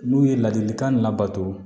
N'u ye ladilikan labato